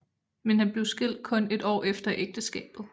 Men han blev skilt kun et år efter ægteskabet